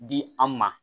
Di an ma